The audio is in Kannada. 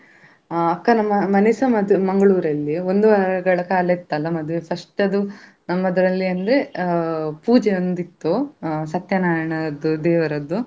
ಅಹ್ ಅಕ್ಕನ ಮನೆ ಸಮೇತ Mangalore ಲ್ಲಿ ಒಂದು ವಾರಗಳ ಕಾಲ ಇತ್ತಲ್ಲ ಮದುವೆ first ಅದು ನಮ್ಮದ್ರಲ್ಲಿ ಅಂದ್ರೆ ಅಹ್ ಪೂಜೆ ಒಂದಿತ್ತು ಅಹ್ ಸತ್ಯನಾರಾಯಣ ಅದ್ದು ದೇವರದ್ದು.